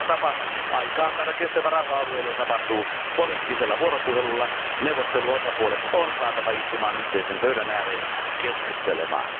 Ainoa tapa aikaansaada kestävä rauha alueelle tapahtuu poliittisella vuoropuhelulla, neuvotteluosapuolet on saatava istumaan yhteisen pöydän ääreen keskustelemaan.